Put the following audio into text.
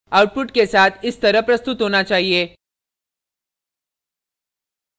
output के साथ इस तरह प्रस्तुत होना चाहिए